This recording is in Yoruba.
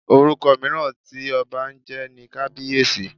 Orúkọ mìíràn tí ọba ń jẹ́ ni Kabiyesi.